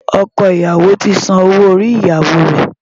Ọkọ ìyàwó ti san owó orí ìyàwó rẹ̀.